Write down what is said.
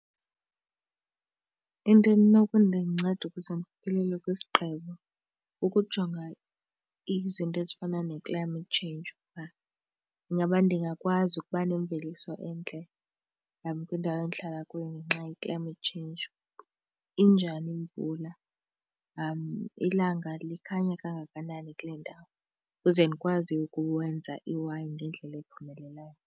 Into enokundinceda ukuze ndifikelele kwisigqibo ukujonga izinto ezifana ne-climate change uba ingaba ndingakwazi ukuba nemveliso entle kwindawo endihlala kuyo ngenxa ye-climate change. Injani imvula, ilanga likhanya kangakanani kule ndawo, ukuze ndikwazi ukwenza iwayini ngendlela ephumelelayo.